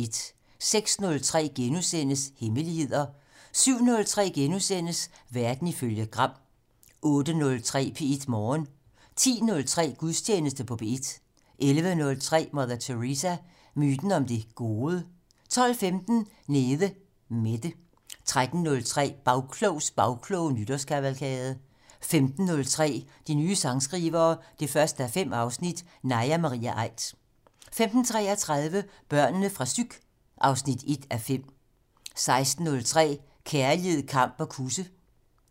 06:03: Hemmeligheder * 07:03: Verden ifølge Gram * 08:03: P1 Morgen 10:03: Gudstjeneste på P1 11:03: Mother Teresa - myten om det gode? 12:15: Nede Mette 13:03: Bagklogs bagkloge nytårskavalkade 15:03: De nye sangskrivere 1:5 - Naja Marie Aidt 15:33: Børnene fra psyk 1:5 16:03: Kærlighed, kamp og kusse